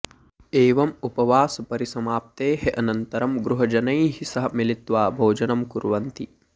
एवम् उपवासपरिसमाप्तेः अनन्तरं गृहजनैः सह मिलित्वा भोजनं कुर्वन्ति